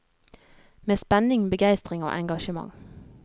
Med spenning, begeistring og engasjement.